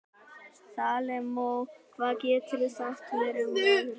Salome, hvað geturðu sagt mér um veðrið?